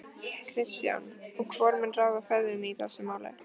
Kristján: Og hvor mun ráða ferðinni í þessu máli?